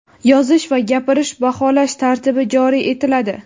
yozish va gapirish) baholash tartibi joriy etiladi.